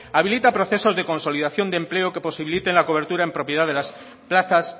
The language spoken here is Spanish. habilita procesos de consolidación de empleo que posibiliten la cobertura en propiedad de las plazas